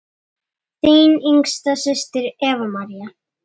Þín yngsta systir, Eva María.